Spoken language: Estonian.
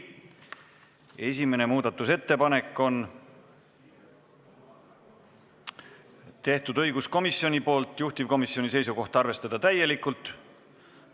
Esimese muudatusettepaneku on teinud õiguskomisjon, juhtivkomisjoni seisukoht on arvestada seda täielikult.